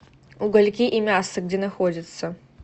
угольки и мясо где находится